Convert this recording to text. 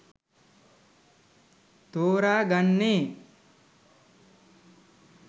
තෝරා ගන්නේ.